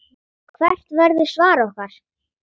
Hvert verður svar okkar?